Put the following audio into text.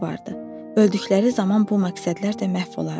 Öldükləri zaman bu məqsədlər də məhv olardı.